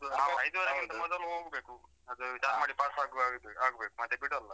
ಗಿಂತ ಮೊದಲು ಹೋಗ್ಬೇಕು. ಅದು ಚಾರ್ಮಡಿ ಪಾಸ್ ಆಗುವ ಹಾಗೆ ಆಗ್ಬೇಕು ಮತ್ತೆ ಬಿಡಲ್ಲ.